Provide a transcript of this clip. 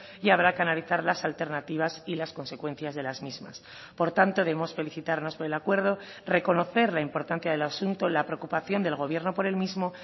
y habrá que analizar las alternativas y las consecuencias de las mismas por tanto debemos felicitarnos por el acuerdo reconocer la importancia del asunto la preocupación del gobierno por el mismo